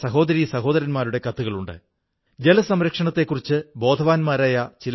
ഇന്ന് ഇവിടത്തെ ഖാദി ഒഹാകാ ഖാദി എന്ന പേരിൽ പ്രസിദ്ധിനേടിയിരിക്കുന്നു